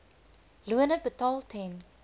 lone betaal ten